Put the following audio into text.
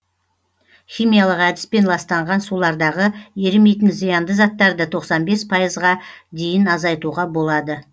химиялық әдіспен ластанған сулардағы ерімейтін зиянды заттарды тоқсан бес пайзға дейін азайтуға болады